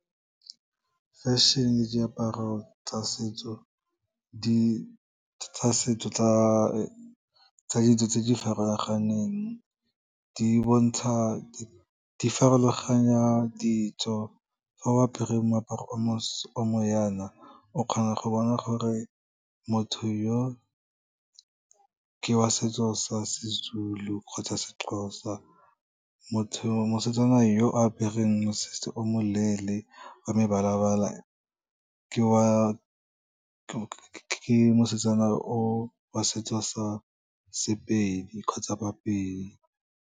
Fashion-e diaparo tsa ditso tse di farologaneng di farologanya ditso, ga o apere moaparo o mo yana, o kgona go bona gore motho yo ke wa setso sa seZulu kgotsa seXhosa, mosetsana yo apereng mosese o moleele, wa mebalabala ke mosetsana o wa setso sa sePedi kgotsa baPedi.